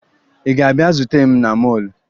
Ị ga-abịa zute m na mọọlụ?